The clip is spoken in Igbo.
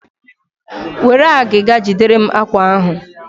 Were agịga jiderem àkwá ahụ!